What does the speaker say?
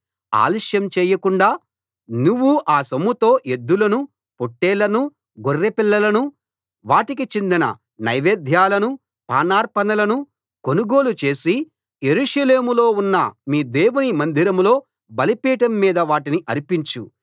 ఆలస్యం చేయకుండా నువ్వు ఆ సొమ్ముతో ఎద్దులను పొట్లేళ్లను గొర్రె పిల్లలను వాటికి చెందిన నైవేద్యాలను పానార్పణలను కొనుగోలు చేసి యెరూషలేములో ఉన్న మీ దేవుని మందిరంలో బలిపీఠం మీద వాటిని అర్పించు